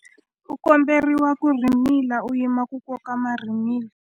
U komberiwa ku rhimila u yima ku koka marhimila.